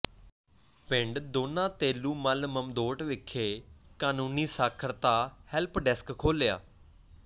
ਪਿੰਡ ਦੋਨਾ ਤੇਲੂ ਮੱਲ ਮਮਦੋਟ ਵਿਖੇ ਕਾਨੂੰਨੀ ਸਾਖਰਤਾ ਹੈਲਪ ਡੈਸਕ ਖੋਲਿ੍ਹਆ